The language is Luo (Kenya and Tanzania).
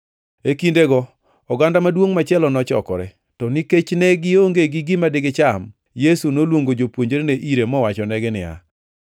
E kindego oganda maduongʼ machielo nochokore. To nikech ne gionge gi gima digicham, Yesu noluongo jopuonjrene ire mowachonegi niya,